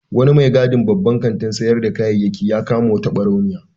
Wani mai gadin babban kantin sayar da kayayyaki ya kama wata ɓarauniya.